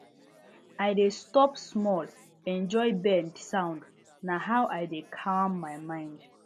i dey stop small enjoy bird sound na how i dey calm my mind